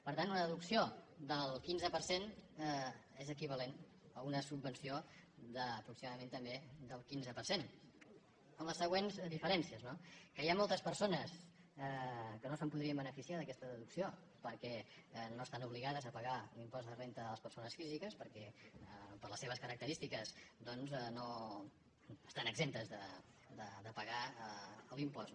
per tant una deducció del quinze per cent és equivalent a una subvenció d’apro·ximadament també del quinze per cent amb les següents diferències no que hi ha moltes persones que no se’n podrien beneficiar d’aquesta deducció perquè no es·tan obligades a pagar l’impost de renda de les persones físiques perquè per les seves característiques doncs estan exemptes de pagar l’impost